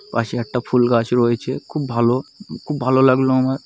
পাশে একটা ফুল গাছ রয়েছে। খুব ভালো খুব ভালো লাগলো আমার।